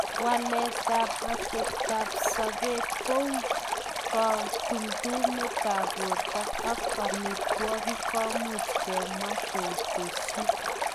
Waletab oteptab sobet kou kotumtumetab borto ok omitwokik komuch kemwa ketesyi.